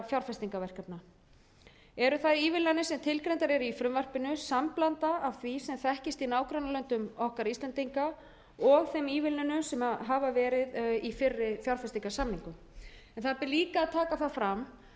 fjárfestingarverkefna eru það ívilnanir sem tilgreindar eru í frumvarpinu samblanda af því sem þekkist í nágrannalöndum okkar íslendinga og þeim ívilnunum sem hafa verið í fyrri fjárfestingarsamningum en það ber líka að taka það fram